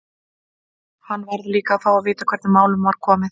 Hann varð líka að fá að vita hvernig málum var komið.